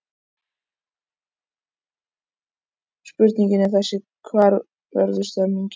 Spurningin er þessi: Hvar verður stemningin?